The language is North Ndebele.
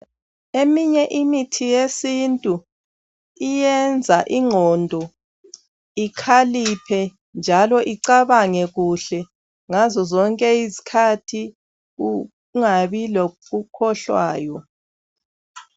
Eminye imithi yesintu iyenza ingqondo ikhaliphe njalo icabange kuhle ngazo zonke izikhathi kungabi lokukhohlwayo.